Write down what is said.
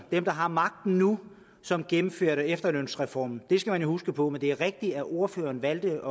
dem der har magten nu som gennemførte efterlønsreformen det skal man jo huske på men det er rigtigt at ordføreren valgte